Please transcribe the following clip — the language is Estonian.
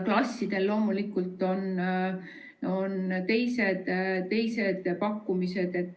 Klassidele loomulikult on teised pakkumised.